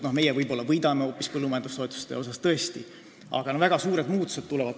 No meie võib-olla põllumajandustoetuste mõttes tõesti võidame, aga väga suured muutused tulevad.